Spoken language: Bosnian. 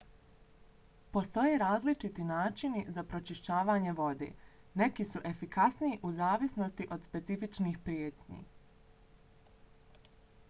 postoje različiti načini za pročišćavanje vode neki su efikasniji u zavisnosti od specifičnih prijetnji